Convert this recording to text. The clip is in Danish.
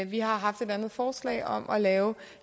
vi har haft et andet forslag om at lave